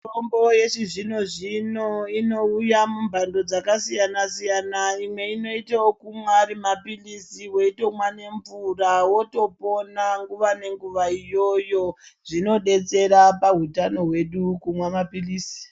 Mitombo yechizvino-zvino inouya mumhando dzakasiyana -siyana imwe inoita okumwa ari mapilizi weitomwa nemvura wotopona nguwa nenguwa iyoyo zvinodetsera pahutano hwedu kumwa mapilizi.